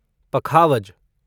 पखावज